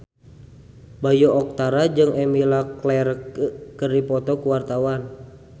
Bayu Octara jeung Emilia Clarke keur dipoto ku wartawan